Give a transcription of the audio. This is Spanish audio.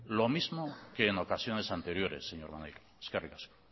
lo mismo que en ocasiones anteriores señor maneiro eskerrik asko